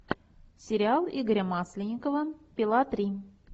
сериал игоря масленникова пила три